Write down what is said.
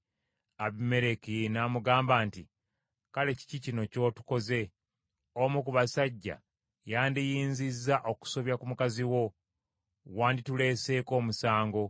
Abimereki n’amugamba nti, “Kale kiki kino ky’otukoze? Omu ku basajja yandiyinzizza okusobya ku mukazi wo, wandituleeseeko omusango.”